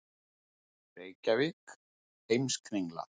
Reykjavík, Heimskringla.